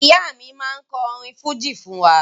Ìyá mi máa kọ orin fújì fún wa